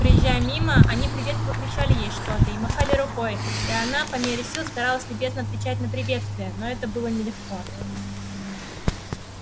проезжая мимо они приветливо кричали ей что-то и махали рукой и она по мере сил старалась любезно отвечать на приветствия но это было нелегко